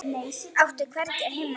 Átti ég hvergi heima?